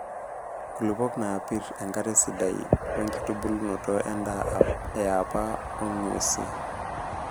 Nkulupuok naapir, enkare sidai wenkitubulunoto endaa eapa oo ng'wesii.